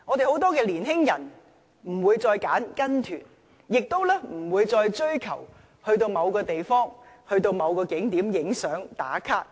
很多年輕人不會再選擇參加旅行團，亦不會再追求去某個地方或景點拍照，"打卡"。